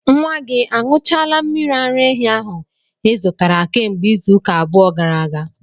Nwa gị añụchaala mmiri ara ehi ahu ị zụtara kemgbe izuụka abụọ gara aga?